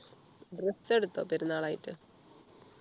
dress എടുത്തോ പെരുന്നാൾ ആയിട്ട്